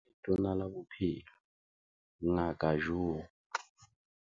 Ho ya ka Letona la Bophelo Ngaka Joe